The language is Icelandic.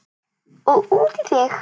Og út í þig.